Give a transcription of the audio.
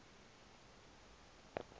tha yafa kwaphela